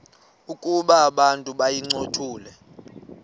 ukuba abantu bayincothule